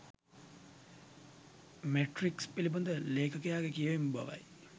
Matrix පිලිබඳ ලේඛකයාගේ කියවීම බවයි.